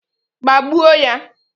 Gbagbuo ya!